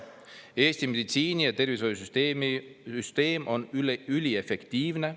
Eesti meditsiini- ja tervishoiusüsteem on üliefektiivne.